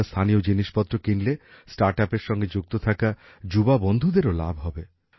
আপনারা স্থানীয় জিনিসপত্র কিনলে স্টার্টআপের সঙ্গে যুক্ত থাকা যুববন্ধুদেরও লাভ হবে